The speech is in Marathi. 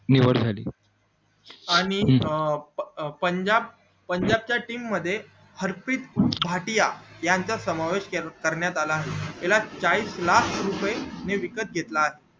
निवड झाली आणि अं पंजाब च्या team मध्ये हार्पिक घाटिया यांचा समावेश करण्यात आला आहे त्याला चाळीस लाख रुपये ने विकत घेतले आहे